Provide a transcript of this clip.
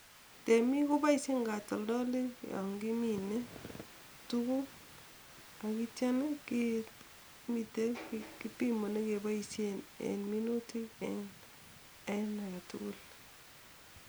Temiik kopoishen katoldolik yon kimine tuguk akityo kemiten biik kepimani kepoishen en minutik en age tugul.